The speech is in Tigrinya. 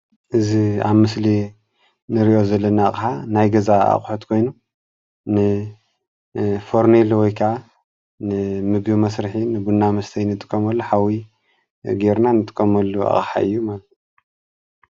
እዚ ኣብ ምስሊ እንሪኦ ዘለና ከዓ ናይ ገዛ ኣቁሑት ኮይኑ ን ፈርኔሎ ወይ ከዓ ንምግቢ መስርሒ ቡና መስተይ እንጥቀመሉ ሓዊ ጌርና እንጥቀመሉ ኣቅሓ እዩ ማለት እዩ፡፡